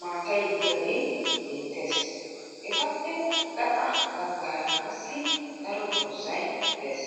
maatay diyagee beettes. Etappe gaxa baggaara qassi daro dozzay des.